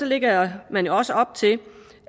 lægger man jo også op til